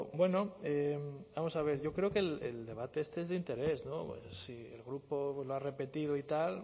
bueno vamos a ver yo creo que el debate este es de interés si el grupo lo ha repetido y tal